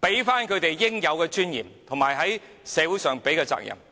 給他們應有的尊嚴，而政府亦應對社會負起應負的責任。